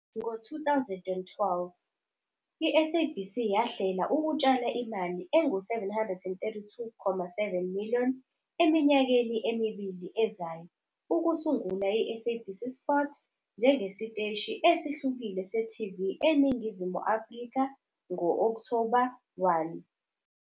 Ngo-2012, iSABC yahlela ukutshala imali engu-R732.7 million eminyakeni emibili ezayo ukusungula iSABC Sport njengesiteshi esihlukile se-TV eNingizimu Afrika ngo-Okthoba 1.